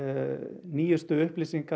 nýjustu upplýsingar